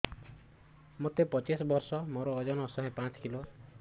ମୋତେ ପଚିଶି ବର୍ଷ ମୋର ଓଜନ ଶହେ ପାଞ୍ଚ କିଲୋ